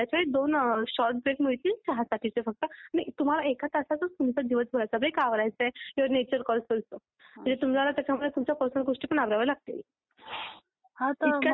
राहत नाही. पण मी जिथे गेली होती तिथे मुलींना एका ठिकाणी आठ पर्यन्त म्हटलं होतं, एका ऑर्गनायझेशन मधे आणि एका ऑर्गनायझेशन मधे मुलींना रोटेशनल शिफ्ट सुद्धा होता